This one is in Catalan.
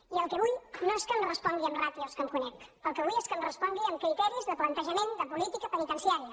i el que vull no és que em respongui amb ràtios que em conec el que vull és que em respongui amb criteris de plantejament de política penitenciària